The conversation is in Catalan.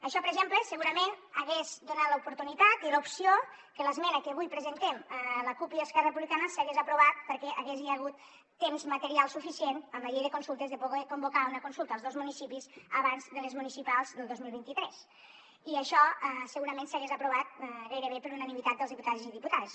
això per exemple segurament hagués donat l’oportunitat i l’opció que l’esmena que avui presentem la cup i esquerra republicana s’hagués aprovat perquè hi hagués hagut temps material suficient amb la llei de consultes de poder convocar una consulta als dos municipis abans de les municipals del dos mil vint tres i això segurament s’hagués aprovat gairebé per unanimitat dels diputats i diputades